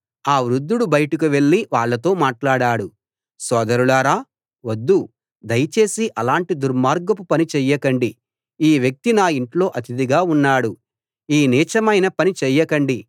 ఆ వృద్ధుడు బయటకు వెళ్ళి వాళ్ళతో మాట్లాడాడు సోదరులారా వద్దు దయచేసి అలాంటి దుర్మార్గపు పని చేయకండి ఈ వ్యక్తి నా ఇంట్లో అతిథిగా ఉన్నాడు ఈ నీచమైన పని చేయకండి